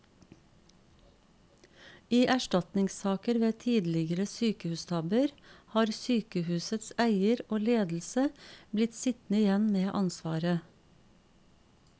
I erstatningssaker ved tidligere sykehustabber har sykehusets eier og ledelse blitt sittende igjen med ansvaret.